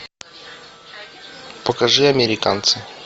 покажи американцы